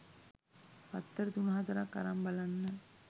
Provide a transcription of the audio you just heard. පත්තර තුන හතරක් අරං බලන්න